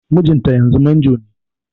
Mijinta yanzu manjo ne